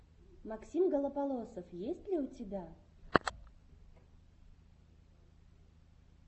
максим голополосов есть ли у тебя